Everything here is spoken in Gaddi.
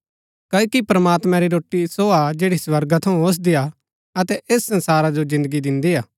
क्ओकि प्रमात्मां री रोटी सो हा जैड़ी स्वर्गा थऊँ ओसदी हा अतै ऐस संसारा जो जिन्दगी दिन्दी हा